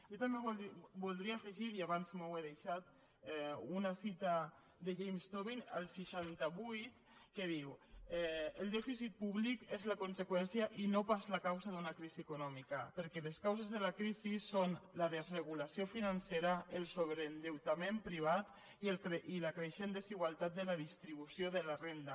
jo també voldria afegir hi abans m’ho he deixat una cita de james tobin el seixanta vuit que diu el dèficit públic és la conseqüència i no pas la causa d’una crisi econòmica perquè les causes de la crisi són la desregulació financera el sobreendeutament privat i la creixent desigualtat de la distribució de la renda